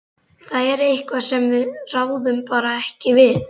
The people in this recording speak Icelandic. Þetta er eitthvað sem við ráðum bara ekki við.